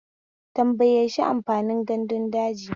Tambaye shi amfanin gandun daji.